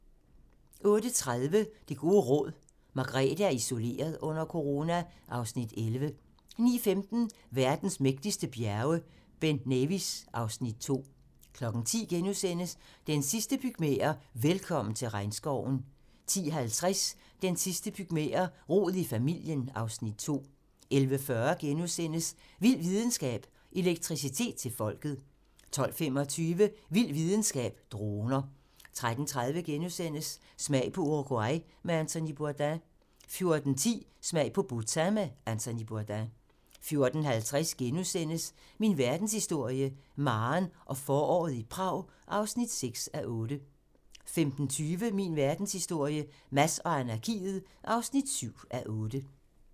08:30: Det gode råd: Margrethe er isoleret under corona (Afs. 11) 09:15: Verdens mægtigste bjerge: Ben Nevis (Afs. 2) 10:00: De sidste pygmæer: Velkommen til regnskoven * 10:50: De sidste pygmæer: Rod i familien (Afs. 2) 11:40: Vild videnskab: Elektricitet til folket * 12:25: Vild videnskab: Droner 13:30: Smag på Uruguay med Anthony Bourdain * 14:10: Smag på Bhutan med Anthony Bourdain 14:50: Min verdenshistorie - Maren og foråret i Prag (6:8)* 15:20: Min verdenshistorie - Mads og anarkiet (7:8)